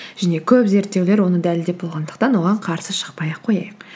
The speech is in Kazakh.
және көп зерттеулер оны дәлелдеп болғандықтан оған қарсы шықпай ақ қояйық